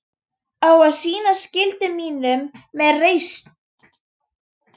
Á að sinna skyldu mínum með reisn.